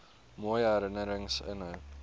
mooi herinnerings inhou